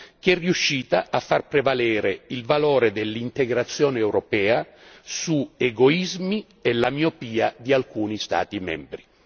che è riuscita a far prevalere il valore dell'integrazione europea sugli egoismi e la miopia di alcuni Stati membri.